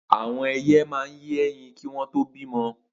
Awọn ẹ̀iyẹ̀ mà n yé ẹ̀yín kiwòn tó bimọ̀